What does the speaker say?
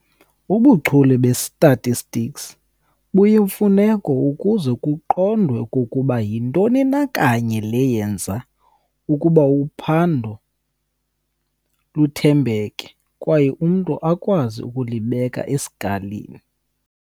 Ubuchule be-statistics buyimfuneko ukuze kuqondwe okokuba yintoni na kanye le yenza ukuba uphando luthembeke, kwaye umntu akwazi ukulibeka esikalini